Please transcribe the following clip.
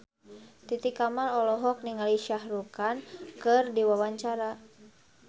Titi Kamal olohok ningali Shah Rukh Khan keur diwawancara